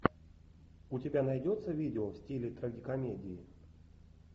у тебя найдется видео в стиле трагикомедии